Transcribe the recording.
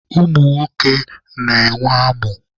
Ụmụ nwoke na-enwe amụ.